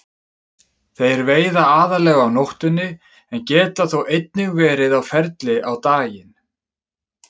Þeir veiða aðallega á nóttunni en geta þó einnig verið á ferli á daginn.